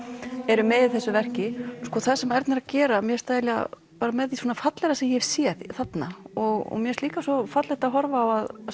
eru með í þessu verki það sem Erna er að gera mér finnst það með því fallegra sem ég hef séð þarna og mér finnst líka fallegt að horfa á að